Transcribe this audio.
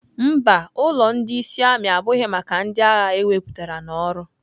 Mba, ulọ ndị ịsị ami abụghị maka ndị agha ewepụtara n'ọrụ.